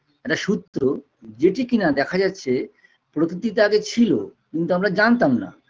একটা সূত্র যেটি কিনা দেখা যাচ্ছে প্রকৃতি তাতে ছিল কিন্তু আমরা জানতাম না